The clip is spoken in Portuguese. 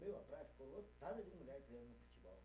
Meu, a praia ficou lotada de mulher treinando futebol.